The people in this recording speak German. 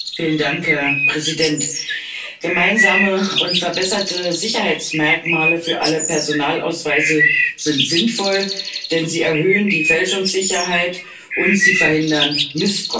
Herr Präsident! Gemeinsame und verbesserte Sicherheitsmerkmale für alle Personalausweise sind sinnvoll, denn sie erhöhen die Fälschungssicherheit und sie verhindern Missbrauch.